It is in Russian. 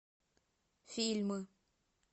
фильмы